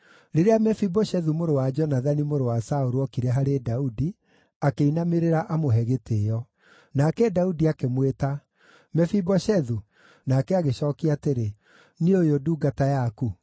Rĩrĩa Mefiboshethu mũrũ wa Jonathani, mũrũ wa Saũlũ, ookire harĩ Daudi, akĩinamĩrĩra amũhe gĩtĩĩo. Nake Daudi akĩmwĩta “Mefiboshethu!” Nake agĩcookia atĩrĩ, “Niĩ ũyũ ndungata yaku.”